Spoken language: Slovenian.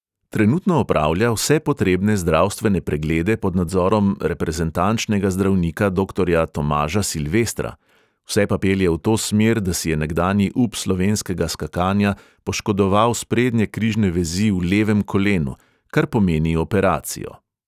Trenutno opravlja vse potrebne zdravstvene preglede pod nadzorom reprezentančnega zdravnika doktorja tomaža silvestra, vse pa pelje v to smer, da si je nekdanji up slovenskega skakanja poškodoval sprednje križne vezi v levem kolenu, kar pomeni operacijo.